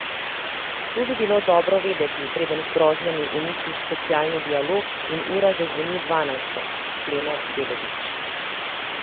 To bi bilo dobro vedeti, preden z grožnjami uničiš socialni dialog in ura zazvoni dvanajsto, sklene Belovič.